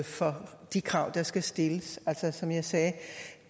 for de krav der skal stilles som jeg sagde